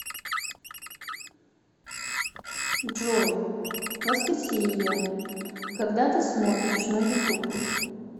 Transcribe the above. джой воскресение когда ты смотришь на ютуб